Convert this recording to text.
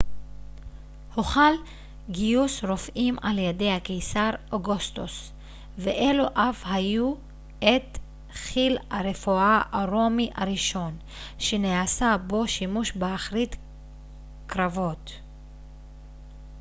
הוחל גיוס רופאים על ידי הקיסר אוגוסטוס ואלו אף היוו את חיל הרפואה הרומי הראשון שנעשה בו שימוש באחרית קרבות